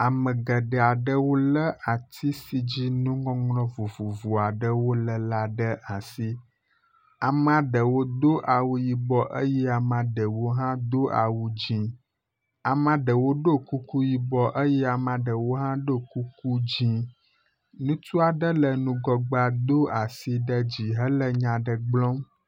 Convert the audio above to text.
Ame geɖe awo le atsi si dzi nuŋɔŋlɔ vovovo aɖe le la ɖe asi. Amea ɖewo do awu yibɔ eye amea ɖewo hã do awu dzi. Amea ɖewo ɖo kuku yibɔ eye amea ɖewo hã ɖo kuku dzi. Ŋutsu aɖe le ŋgɔgbea do asi ɖe dzi hele nya aɖe gblɔm.